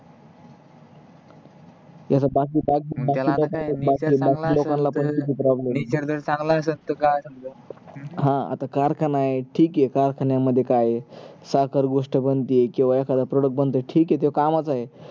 ह आता कारखाना आहे ठीक आहे कारखान्या मध्ये काय आहे साखर गोष्ट बनते किवा एखादा product बनते तो कामाचा आहे पण बाकी